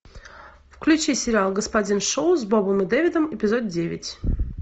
включи сериал господин шоу с бобом и дэвидом эпизод девять